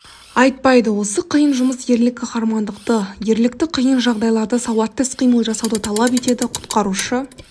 айтпайды осы қиын жұмыс ерлік қаһармандықты ерлікті қиын жағдайларда сауатты іс-қимыл жасауды талап етеді құтқарушы